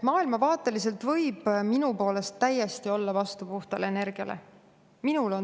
Maailmavaateliselt võib minu poolest täiesti olla vastu puhtale energiale.